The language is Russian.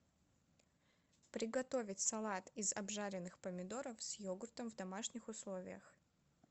приготовить салат из обжаренных помидоров с йогуртом в домашних условиях